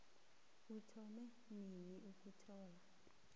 uthome nini ukuthola